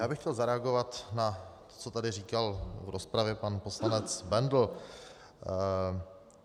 Já bych chtěl zareagovat na to, co tady říkal v rozpravě pan poslanec Bendl.